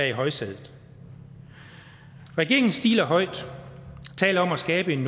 i højsædet regeringen stiler høj og taler om at skabe en